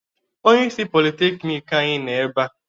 Onyeisi Politekiniiki anyi nọ ebea.